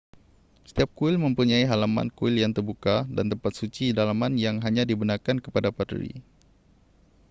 setiap kuil mempunyai halaman kuil yang terbuka dan tempat suci dalaman yang hanya dibenarkan kepada paderi